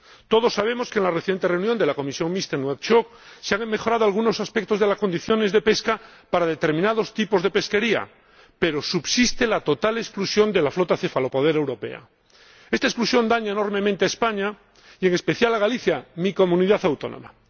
Todos sabemos que en la reciente reunión de la comisión mixta en Nuakchot se han mejorado algunos aspectos de las condiciones de pesca para determinados tipos de pesquería, pero subsiste la total exclusión de la flota cefalopodera europea. Esta exclusión daña enormemente a España y, en especial, a Galicia, mi comunidad autónoma.